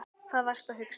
Hvað varstu að hugsa?